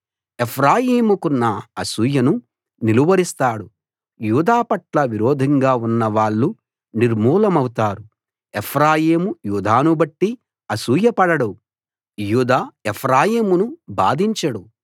ఎఫ్రాయిముకున్న అసూయను నిలువరిస్తాడు యూదా పట్ల విరోధంగా ఉన్న వాళ్ళు నిర్మూలమౌతారు ఎఫ్రాయిము యూదాను బట్టి అసూయ పడడు యూదా ఎఫ్రాయిమును బాధించడు